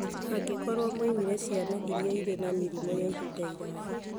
mangĩkorũo moimĩrire ciana iria irĩ na mĩrimũ ya ihinda iraya.